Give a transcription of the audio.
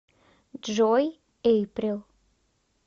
джой эйприл